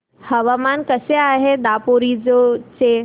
हवामान कसे आहे दापोरिजो चे